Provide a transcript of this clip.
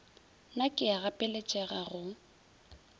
na ke a gapeletšega go